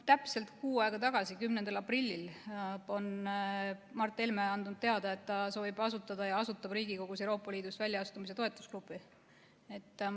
Täpselt kuu aega tagasi, 10. aprillil on Mart Helme andnud teada, et ta soovib asutada ja asutab Riigikogus Euroopa Liidust väljaastumise toetusgrupi.